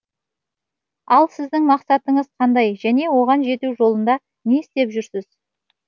ал сіздің мақсатыңыз қандай және оған жету жолында не істеп жүрсіз